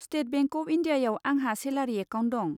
State Bank of इन्डियायाव आंहा salary account दं।